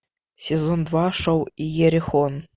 сезон два шоу иерихон